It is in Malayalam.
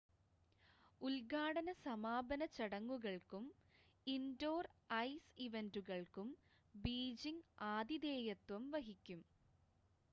ഉദ്ഘാടന സമാപന ചടങ്ങുകൾക്കും ഇൻഡോർ ഐസ് ഇവൻ്റുകൾക്കും ബീജിംഗ് ആതിഥേയത്വം വഹിക്കും